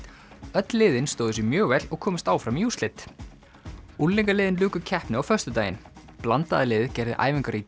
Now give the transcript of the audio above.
öll liðin stóðu sig mjög vel og komust áfram í úrslit luku keppni á föstudaginn blandaða liðið gerði æfingar í